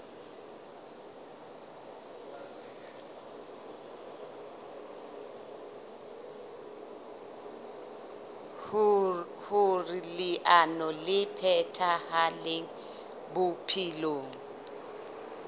hoer leano le phethahale bophelong